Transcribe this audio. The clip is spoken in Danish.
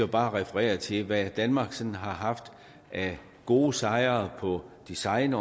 bare referere til hvad danmark sådan har haft af gode sejre på design